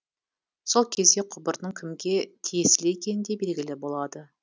сол кезде құбырдың кімге тиесілі екені де белгілі болады